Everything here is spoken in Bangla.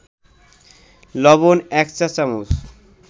লবণ ১ চা-চামচ